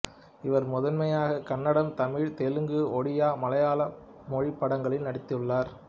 இவர் முதன்மையாக கன்னடம் தமிழ் தெலுங்கு ஒடியா மலையாள மொழி படங்களில் நடித்துள்ளார்